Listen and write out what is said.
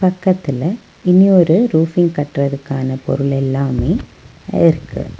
பக்கத்துல இன்னொரு ரூஃபிங் கட்றதுக்கான பொருள் எல்லாமே இருக்கு.